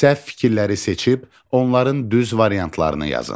Səhv fikirləri seçib onların düz variantlarını yazın.